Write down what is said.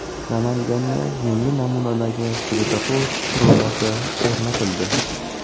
Namanganda yangi namunadagi svetofor qurilmasi o‘rnatildi .